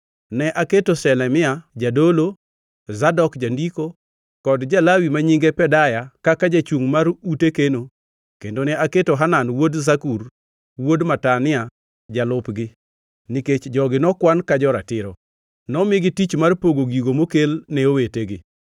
Ne aketo Shelemia jadolo, Zadok jandiko, kod ja-Lawi ma nyinge Pedaya kaka jachungʼ mar ute keno kendo ne aketo Hanan wuod Zakur, wuod Matania jalupgi, nikech jogi nokwan ka jo-ratiro. Nomigi tich mar pogo gigo mokel ne owetegi.